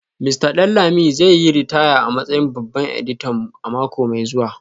Mista Danlami zai yi ritaya a matsayin babban editan mu a mako mai zuwa